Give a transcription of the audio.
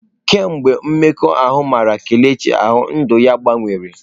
Kemgbe mmekọahụ mara Kelechi ahụ, ndụ ya gbanwere.